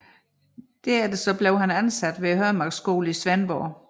Derefter blev han ansat ved Hømarkskolen i Svendborg